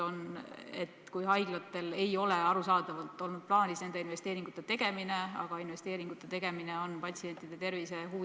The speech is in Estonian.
Kindlasti nõuab see teatud ümberkorraldusi haiglates, kindlasti nõuab see teatud investeeringuid haiglates.